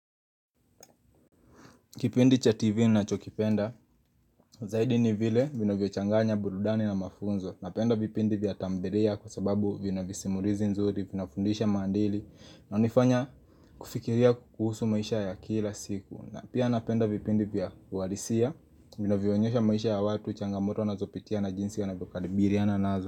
Kipindi cha TV nachokipenda, Zaidi ni vile vinavyochanganya, burudani na mafunzo. Napenda vipindi vya tamthilia kwa sababu vina visimurizi nzuri, vinafundisha mandili ina nifanya Kufikiria kuhusu maisha ya kila siku. Na pia napenda vipindi vya warisia, vina vionyesha maisha ya watu, changamoto na zopitia na jinsi ya na vio kalibiriana nazo.